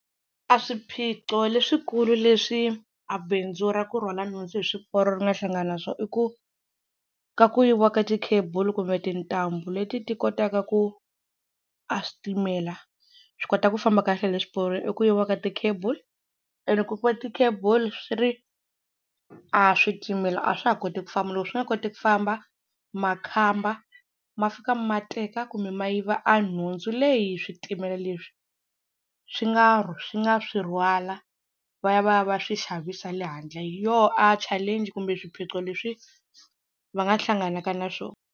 A swiphiqo leswikulu leswi a bindzu ra ku rhwala nhundzu hi swiporo ri nga hlangana na swo i ku ka ku yiviwa ka ti-cable kumbe tintambu leti ti kotaka ku a switimela swi kota ku famba kahle hi le swiporo i ku yiviwa ka ti-cable and loko ku yiviwe ti-cable swi ri a switimela a swa ha koti ku famba loko swi nga koti ku famba makhamba ma fika ma teka kumbe ma yiva a nhundzu leyi switimela leswi swi nga swi nga swi rhwala va ya va ya va swi xavisi le handle, hi yoho a challenge kumbe swiphiqo leswi va nga hlanganaka na swona.